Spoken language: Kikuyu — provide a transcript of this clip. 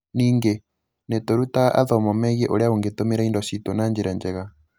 Ningĩ, nĩ tũrutaga athomo megie ũrĩa ũngĩtũmĩra indo citũ na njĩra njega.